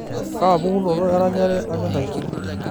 kaapukunoto eranyare anyor aisul